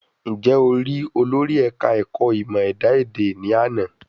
Ǹjẹ́ o rí olórí ẹ̀ka ẹ̀kọ́ ìmọ ẹ̀dá èdè ni àná?